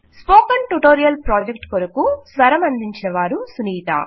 spoken tutorial project కొరకు స్వరమందించిన వారు సునీత